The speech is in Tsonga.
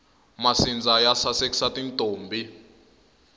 masindza ya sasekisa tintombhi